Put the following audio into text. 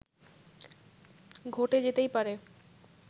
ঘটে যেতেই পারে